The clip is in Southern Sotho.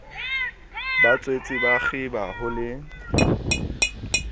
batswetse ba kgiba ho le